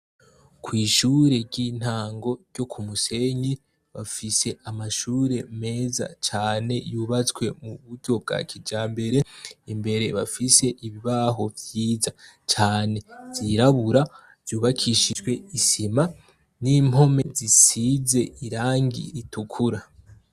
Kwishure ryintango ryo kumusenyi bafise amashure meza cane yubatswe muburyo bwa kijambere imbere bafise ibibaho vyiza cane vyirabura vyubakishijwe isima nimpome zisize irangi ritukura